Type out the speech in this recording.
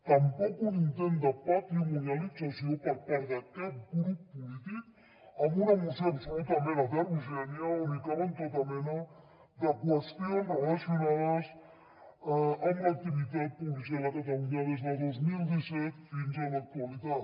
tampoc un intent de patrimonialització per part de cap grup polític amb una moció absolutament heterogènia on hi caben tota mena de qüestions relacionades amb l’activitat policial a catalunya des de dos mil disset fins a l’actualitat